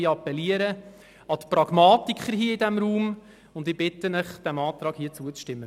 Ich appelliere auch an die Pragmatiker hier im Grossen Rat und bitte Sie, diesem Antrag zuzustimmen.